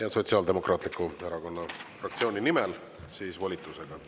Ja Sotsiaaldemokraatliku Erakonna fraktsiooni nimel siis volitusega.